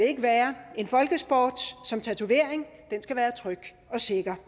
ikke være en folkesport som tatovering skal være tryg og sikker